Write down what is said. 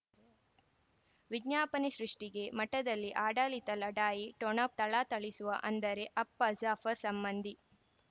ವಿಜ್ಞಾಪನೆ ಸೃಷ್ಟಿಗೆ ಮಠದಲ್ಲಿ ಆಡಳಿತ ಲಢಾಯಿ ಠೊಣ ಥಳಥಳಿಸುವ ಅಂದರೆ ಅಪ್ಪ ಜಾಫರ್ ಸಂಬಂಧಿ